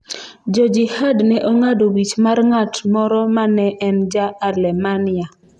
Jo Jihad ne ong’ado wich mar ng’at moro ma ne en ja-Alemania.